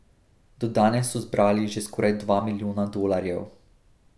Do danes so zbrali že skoraj dva milijona dolarjev.